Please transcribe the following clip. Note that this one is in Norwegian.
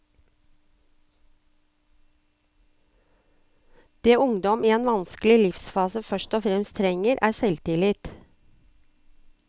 Det ungdom i en vanskelig livsfase først og fremst trenger, er selvtillit.